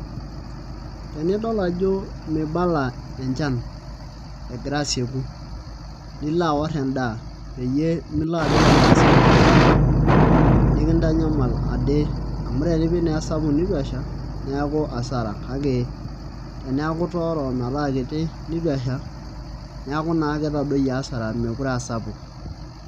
Enidol ajo mibala enchan egira asieku nilo aaorr endaa peyie milo apik endaa sapuk olchamba nikintanyamal ade amu tenipik naa esapuk nitu esha nikintanyamal kake teneeku itooro metaa kiti nitu esha neeku naa ketadoyie asara meekure aa sapuk.